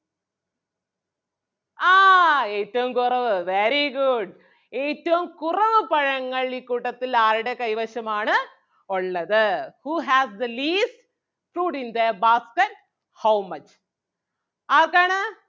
ആഹ് ഏറ്റവും കുറവ് very good ഏറ്റവും കുറവ് പഴങ്ങൾ ഈ കൂട്ടത്തിൽ ആരുടെ കൈവശം ആണ് ഒള്ളത് who has the least fruits in their basket how much ആർക്കാണ്?